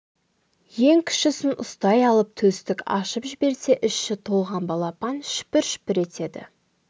ең кішісін ұстай алып төстік ашып жіберсе іші толған балапан шүпір-шүпір етеді